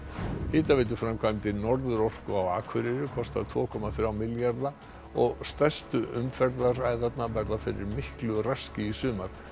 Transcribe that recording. hitaveituframkvæmdir Norðurorku á Akureyri kosta tveir komma þrjá milljarða og stærstu umferðaræðarnar verða fyrir miklu raski í sumar